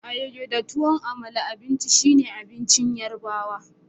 Ayoyo da tuwan Amala abincin shine abincin yorubawa.